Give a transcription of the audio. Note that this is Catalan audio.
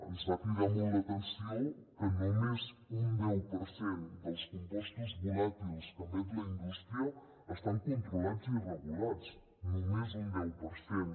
ens va cridar molt l’atenció que només un deu per cent dels compostos volàtils que emet la indústria estan controlats i regulats només un deu per cent